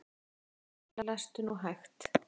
Lestu nú hægt!